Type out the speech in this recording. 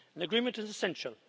An agreement is essential.